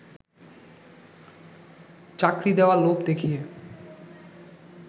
চাকরি দেয়ার লোভ দেখিয়ে